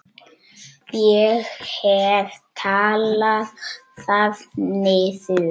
Ég hef talað það niður.